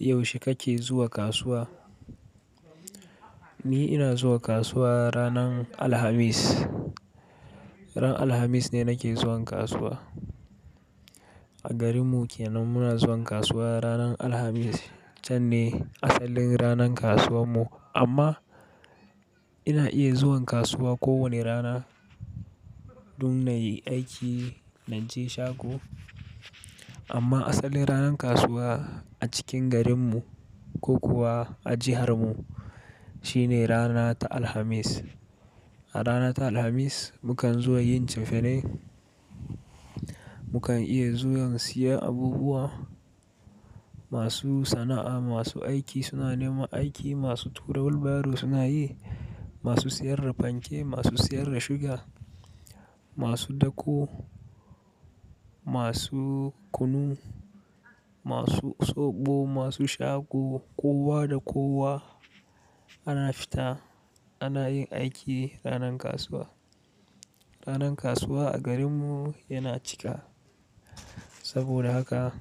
Yaushe kake zuwa kasuwa? Ni ina zuwa kasuwa ranan Alhamis. Ran Alhamis ne nake zuwan kasuwa. A garinmu kenan muna zuwan kasuwa ranar Alhamis, can ne asalin ranan kasuwan mu. Amma ina iya zuwan kasuwa ko wane rana, dun nayi aiki naje shago. Amma asalin ranan kasuwa a cikin garinmu ko kuwa a jihar mu shine rana ta Alhamis. A rana ta Alhamis mukan zuwa yin cefane, mukan iya zuwan siya abubuwa, masu sana'a, masu aiki suna neman aiki, masu tura wilbaro suna yi, masu siyar da fanke, masu siyar da suga, masu dako, masu kunu, masu soɓo, masu shago kowa da kowa ana fita ana yin aiki ranan kasuwa. Ranan kasuwa a garinmu yana cika. Saboda haka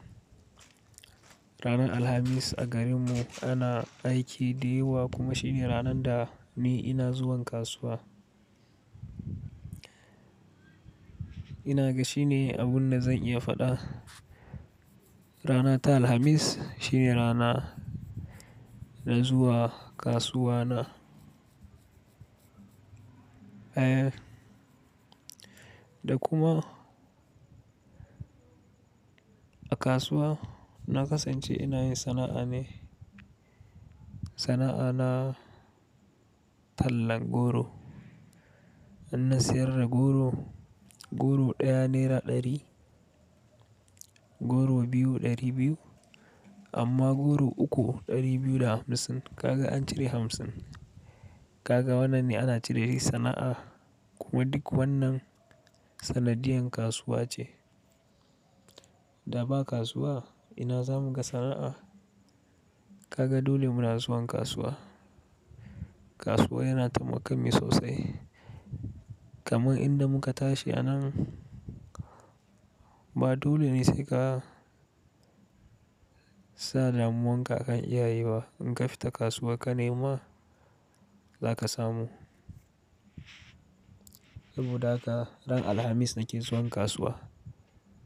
ranar Alhamis a garinmu ana aiki da yawa kuma shine ranan da ni ina zuwan kasuwa. Ina ga shine abun da zan iya faɗa. Rana ta Alhamis shine rana na zuwa kasuwa na. Eh, da kuma a kasuwa na kasance ina yin sana'a ne. Sana'a na tallan goro. Ina siyar da goro. Goro ɗaya naira ɗari, goro biyu ɗari biyu, amma goro uku ɗari biyu da hamsin. Kaga an cire hamsin. Kaga wannan ne ana ce dashi sana'a kuma duk wannan sanadiyan kasuwa ce. Da ba kasuwa ina zamu ga sana'a. Kaga dole muna zuwan kasuwa. Kasuwa yana taimaka min sosai. Kaman inda muka tashi anan ba dole ne sai ka sa damuwanka akan iyaye ba. In ka fita kasuwa ka nema za ka samu. Saboda haka ran Alhamis nake zuwan kasuwa.